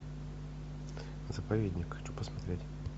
заповедник хочу посмотреть